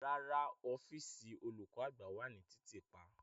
Rara, ọfiisi olukọ-agba wa ni titiipa.